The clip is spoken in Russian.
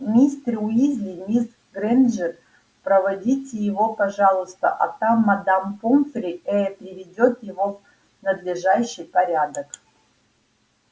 мистер уизли мисс грэйнджер проводите его пожалуйста а там мадам помфри э-э приведёт его в надлежащий порядок